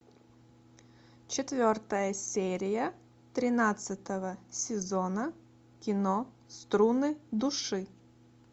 четвертая серия тринадцатого сезона кино струны души